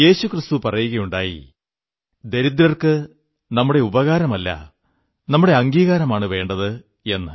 യേശുക്രിസ്തു പറയുകയുണ്ടായി ദരിദ്രർക്കു നമ്മുടെ ഉപകാരമല്ല നമ്മുടെ അംഗീകാരമാണു വേണ്ടത് എന്ന്